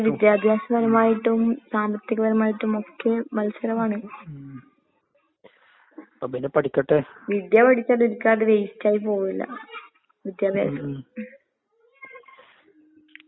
ഇപ്പൊ ഓരോരുത്തർക്കുവോരോ കരിയറാന്ന്. ആഹ് നിനക്കിഷ്ടം ചെലപ്പോ ഫുട്‍ബോൾ ആയിരിക്കാം അല്ലെങ്കില് വേറെ ഏതെങ്ങു കോഴ്സായിരിക്കാ, ഏ പിന്നെ ഡിഗ്രി പോണവര് ഡിഗ്രി പോവാ. ഡിഗ്രി വേസ്റ്റ് ആന്ന്ന്നുള്ള കാര്യം മാത്രം പറയരുത്. കാരണം അതിനനുസരിച്ച് നല്ല